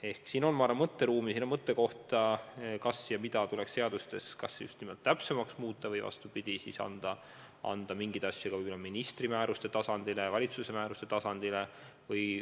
Seega siin on, ma arvan, mõtteruumi, mida tuleks seadustes just nimelt täpsemaks muuta või siis vastupidi, anda mingeid asju ministri määruste tasandile, valitsuse määruste tasandile.